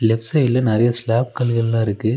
லெஃப் சைடுல நெறைய சிலாப் கல்லுகள்லா இருக்கு.